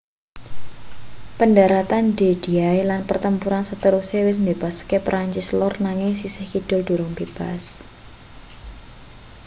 pendharatan d.day lan pertempuran sateruse wis mbebasake perancis lor nanging sisih kidul durung bebas